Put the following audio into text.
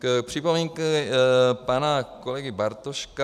K připomínkám pana kolegy Bartoška.